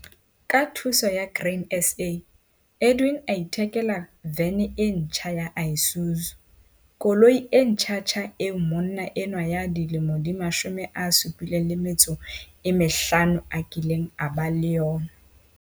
Ka thuso ya Grain SA, Edwin a ithekela vene e ntjha ya Isuzu koloi e ntjhantjha eo monna enwa ya dilemo di 75 a kileng a ba le yona.